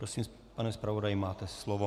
Prosím, pane zpravodaji, máte slovo.